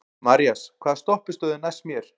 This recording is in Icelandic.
Marías, hvaða stoppistöð er næst mér?